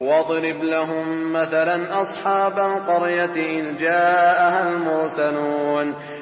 وَاضْرِبْ لَهُم مَّثَلًا أَصْحَابَ الْقَرْيَةِ إِذْ جَاءَهَا الْمُرْسَلُونَ